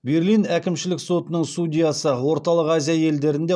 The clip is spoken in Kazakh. берлин әкімшілік сотының судьясы орталық азия елдерінде